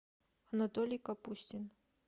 анатолий капустин